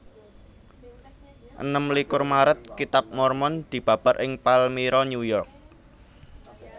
Enem likur Maret Kitab Mormon dibabar ing Palmyra New York